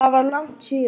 Það var langt síðan.